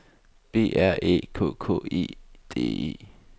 B R Æ K K E D E